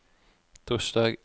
torsdag